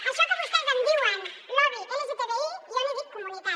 això que vostès en diuen lobby lgtbi jo en dic comunitat